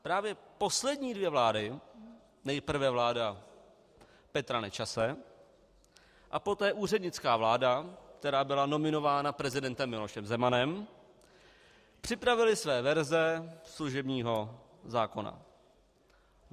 Právě poslední dvě vlády, nejprve vláda Petra Nečase a poté úřednická vláda, která byla nominována prezidentem Milošem Zemanem, připravily své verze služebního zákona.